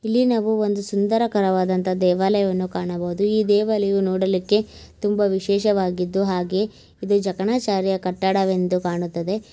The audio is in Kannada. ಇಲ್ಲಿ ನಾವು ಒಂದು ಸುಂದರಕರವಾದ ಒಂದು ದೇವಾಲಯವನ್ನು ಕಾಣಬವುದು ಈ ದೇವಾಲಯವು ನೋಡಲಿಕೆ ತುಂಬ ವಿಶೇಷ ವಾಗಿದ್ದು ಆಗೇ ಇದು ಜಗಣಾಚಾರ್ಯ ಕಟ್ಟಡ ಎಂದು ಕಾಣುತ್ತದೆ.